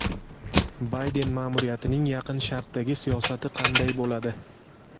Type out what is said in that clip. Bayden ma’muriyatining Yaqin Sharqdagi siyosati qanday bo‘ladi?